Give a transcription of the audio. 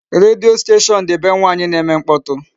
Redio station dị be nwaanyị na-eme mkpọtụ.